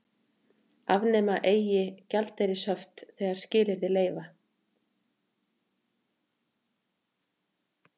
Afnema eigi gjaldeyrishöft þegar skilyrði leyfa